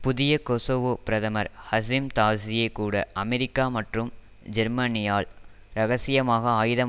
புதிய கொசோவோ பிரதமர் ஹஸிம் தாஸியே கூட அமெரிக்கா மற்றும் ஜேர்மனியால் இரகசியமாக ஆயுதம்